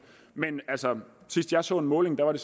men altså sidst jeg så en måling var det